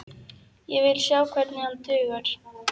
Ég vil sjá hvernig hann dugar!